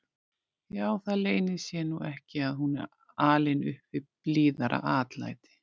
Já, það leynir sér nú ekki að hún er alin upp við blíðara atlæti.